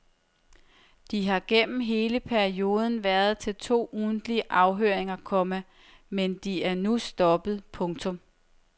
De har gennem hele perioden været til to ugentlige afhøringer, komma men de er nu stoppet. punktum